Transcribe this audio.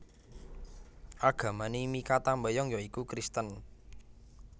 Agamané Mikha Tambayong ya iku Kristen